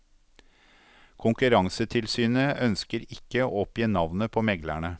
Konkurransetilsynet ønsker ikke å oppgi navnet på meglerne.